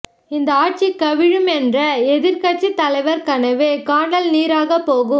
இந்த ஆட்சி கவிழும் என்ற எதிர்கட்சி தலைவர் கனவு கானல் நீராகப் போகும்